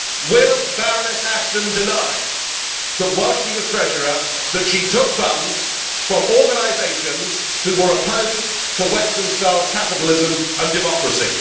Will Baroness Ashton deny that, while she was treasurer, she took funds from organisations that were opposed to Western style capitalism and democracy?